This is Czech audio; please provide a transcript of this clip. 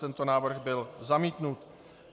Tento návrh byl zamítnut.